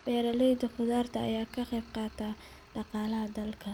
Beeralayda khudaarta ayaa ka qayb qaata dhaqaalaha dalka.